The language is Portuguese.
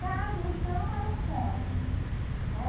Gado, então, era sonho. Né?